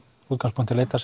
útgangspunkti leitar